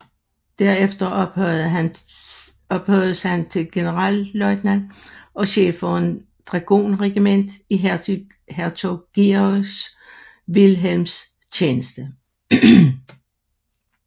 Derefter ophøjedes han til generalløjtnant og chef for et dragonregiment i hertug Georg Vilhelms tjeneste